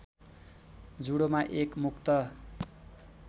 जुडोमा एक मुक्त